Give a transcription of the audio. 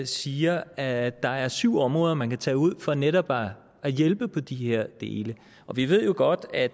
siger at der er syv områder man kan tage ud for netop at hjælpe på de her dele vi ved jo godt at